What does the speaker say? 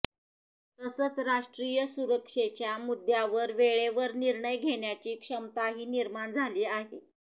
तसंच राष्ट्रीय सुरक्षेच्या मुद्दय़ांवर वेळेवर निर्णय घेण्याची क्षमताही निर्माण झाली आहे